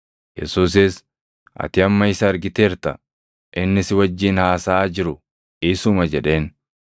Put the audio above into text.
Yesuusis, “Ati amma isa argiteerta; inni si wajjin haasaʼaa jiru isuma” jedheen.